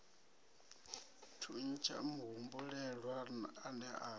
thuntsha muhumbulelwa a ne a